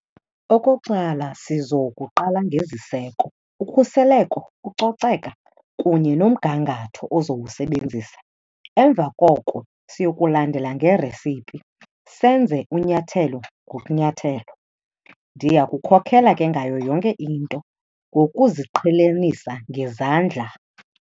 Okokuqala, sizokuqala ngeziseko, ukhuseleko, ucoceka kunye nomgangatho ozowusebenzisa. Emva koko siyokulandela nge-recipe, senze unyathelo ngokunyathelo. Ndiya kukhokhela ke ngayo yonke into ngokuziqhelanisa ngezandla.